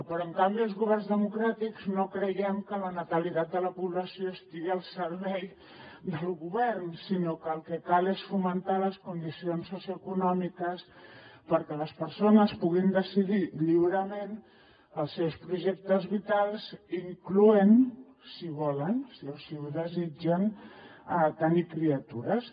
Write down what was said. però en canvi els governs democràtics no creiem que la natalitat de la població estigui al servei del govern sinó que el que cal és fomentar les condicions socioeconòmiques perquè les persones puguin decidir lliurement els seus projectes vitals incloent hi si ho volen si així ho desitgen tenir criatures